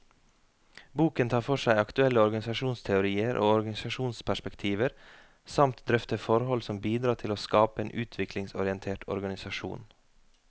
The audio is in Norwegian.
Boken tar for seg aktuelle organisasjonsteorier og organisasjonsperspektiver, samt drøfter forhold som bidrar til å skape en utviklingsorientert organisasjon.